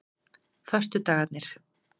föstudagarnir